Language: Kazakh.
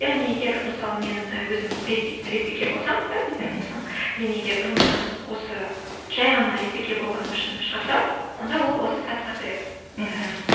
яғни егер мысалы мен і өзім лесбике болсам да лесбиян болсам мен егер жұмыстан осы жай ғана лесбике болғаным үшін шығарса онда ол осы сатыға кіреді мхм ііі